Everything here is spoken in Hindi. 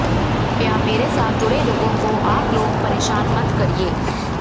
कृपया मेरे साथ जुड़े लोगों को आप लोग परेशान मत करिए